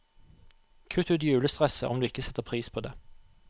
Kutt ut julestresset, om du ikke setter pris på det.